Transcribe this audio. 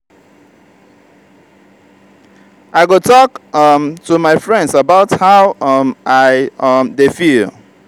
i go talk um to my friends about how um i um dey feel.